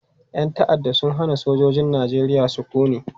Yan ta'adda sun hana sojojin Najeriya sukuni.